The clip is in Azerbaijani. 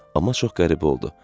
Amma çox qəribə oldu.